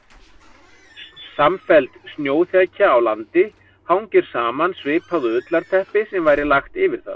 Samfelld snjóþekja á landi hangir saman svipað og ullarteppi sem væri lagt yfir það.